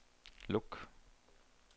luk